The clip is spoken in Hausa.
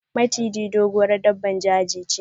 Maciji, doguwar daɓɓan jeji che.